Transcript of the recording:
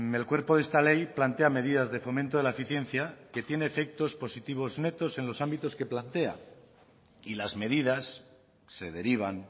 el cuerpo de esta ley plantea medidas de fomento de la eficiencia que tiene efectos positivos netos en los ámbitos que plantea y las medidas se derivan